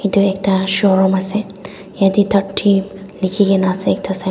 edu ekta showroom ase yete thirty likhi gina ase ekta si.